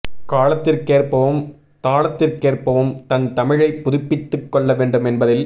காலத்திற்கேற்பவும் தாளத்திற்கேற்பவும் தன் தமிழை புதுப்பித்து கொள்ள வேண்டும் என்பதில்